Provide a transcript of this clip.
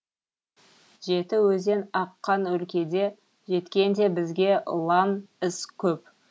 жеті өзен аққан өлкеде жеткен де бізге лаң із көп